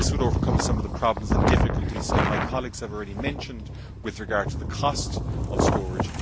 This would overcome some of the problems and difficulties some of my colleagues have already mentioned with regard to the cost of storage.